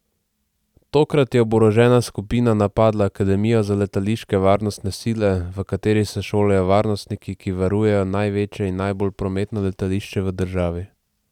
Tokrat je oborožena skupina napadla akademijo za letališke varnostne sile, v kateri se šolajo varnostniki, ki varujejo največje in najbolj prometno letališče v državi.